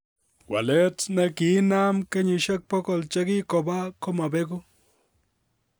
Waleet ne kiinaam kenyisyek bogol che kikoba komobegu.